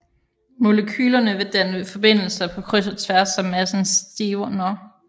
Molekylerne vil danne forbindelser på kryds og tværs så massen stivner